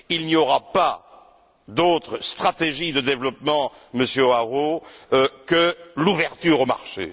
Il n'y aura pas d'autre stratégie de développement, Monsieur Hoarau, que l'ouverture au marché.